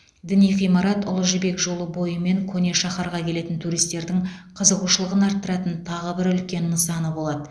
діни ғимарат ұлы жібек жолы бойы мен көне шаһарға келетін туристердің қызығушылығын арттыратын тағы бір үлкен нысаны болады